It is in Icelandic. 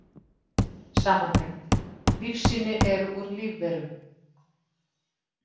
Samantekt: Lífsýni eru úr lífverum.